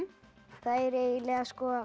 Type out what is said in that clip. þær eiginlega